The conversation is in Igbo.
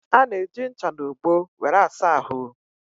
Ana eji ncha na ogbo wéré asa ahụ